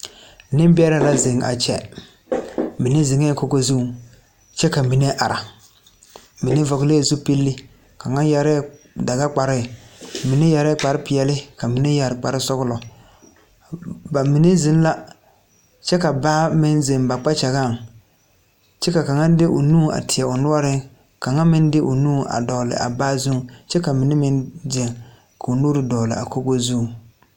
Nembɛrɛ la zeŋ a kyɛ bamine zeŋ la kogo zuŋ kyɛ ka mine are mine vɔglɛɛ zupile ka yɛre la dagakparre mine yɛre la kparre peɛle ka mine yɛre kparre sɔglɔ bamine zeŋ la kyɛ ka baa meŋ zeŋ ba kpakyagaŋ kyɛ ka kaŋa de o nu teɛ o noɔreŋ kaŋa meŋ de o nu a dogle a baa zuŋ kyɛ ka mine meŋ zeŋ ka o nuuri dogle a kogo zuŋ.